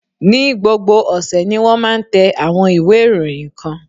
Ní gbogbo ọ̀sẹ̀ ni wón máa ń tẹ àwọn ìwé ìròyìn kan.